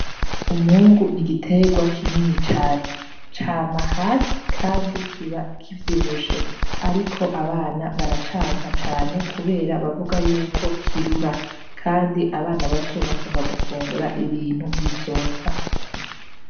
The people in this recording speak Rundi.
Umwungu ni igiterwa kinini cane, cama hasi kandi kiba kivyibushe ariko abana baracanka cane kubera bavuga yuko kirura kandi abana bato bakunda gufungura ibintu bisosa.